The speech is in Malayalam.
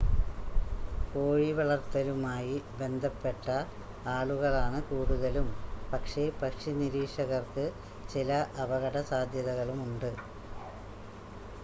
കോഴിവളർത്തലുമായി ബന്ധപ്പെട്ട ആളുകളാണ് കൂടുതലും പക്ഷേ പക്ഷിനിരീക്ഷകർക്ക് ചില അപകട സാധ്യതകളുമുണ്ട്